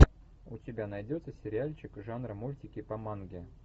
у тебя найдется сериальчик жанра мультики по манге